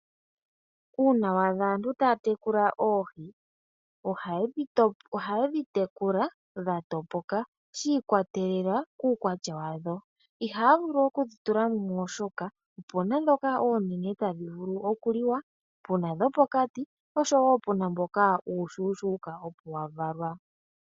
Uuna wa adha aantu taya tekula oohi, ohayedhi tekula dhatopoka shi ikwatelela kuukwatya wadho. Ihaya vulu okudhi tula mumwe oshoka opena ndhoka oonene tadhi vulu okuliwa, pena dhopokati noshowo pena uushushuka opo wavalwa.